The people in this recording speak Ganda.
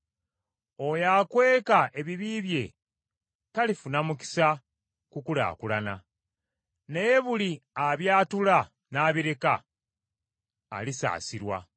Oyo akweka ebibi bye, talifuna mukisa kukulaakulana, naye buli abyatula n’abireka, alisaasirwa.